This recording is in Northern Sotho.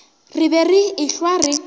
re be re ehlwa re